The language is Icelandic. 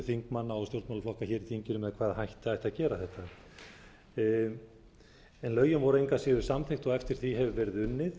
þingmanna og stjórnmálaflokka hér í þinginu með hvaða hætti ætti að gera þetta en lögin voru engu að síður samþykkt og eftir því hefur verið unnið